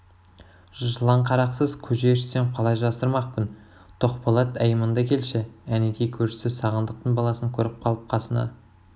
жыланқарақсыз көже ішсем қалай жасырмақпын тоқболат әй мында келші әнетей көршісі сағындықтың баласын көріп қалып қасына